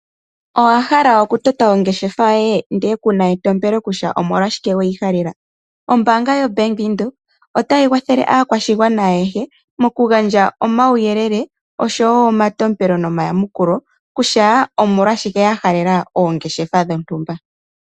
Owa hala oku tota ongeshefa yoye ndele kuna etompelo kutya omolwashike weyihalela, ombaanga yobank Windhoek otayi kwathele aakwashigwana ayehe mokugandja omauyelele oshowo omatompelo nomayamukulo kutya omolwashike ya halela oongeshefa dhomtumba.